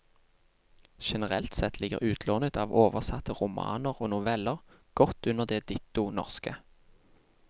Generelt sett ligger utlånet av oversatte romaner og noveller godt under det ditto norske.